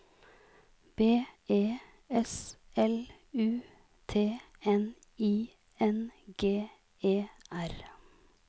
B E S L U T N I N G E R